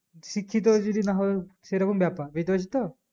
শিক্ষিত যদি না হতাম সেরকম ব্যাপার